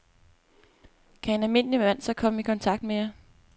Kan en almindelig mand så komme i kontakt med jer?